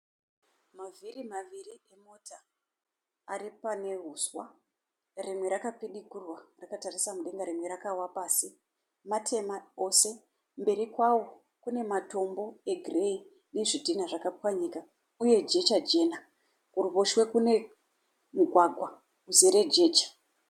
Mavhiri maviri emota aripane huswa. Rimwe rakapidigurwa rakatarisa mudenga rimwe rakawa pasi, matema ose. Mberi kwawo kunematombo egireyi nezvidhinha zvakapwanyika, uye jecha jena. Kuruboshwe kune mugwagwa uzere jecha.